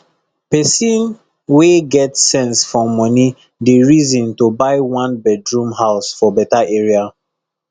pesin wey get sense for moni dey reason to buy one bedroom house for beta area